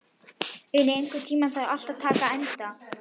Uni, einhvern tímann þarf allt að taka enda.